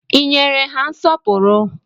I nyere ha nsọpụrụ?